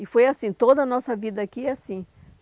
E foi assim, toda a nossa vida aqui é assim.